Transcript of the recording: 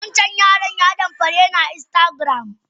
Wancan yaran ya damfare ni a telegram.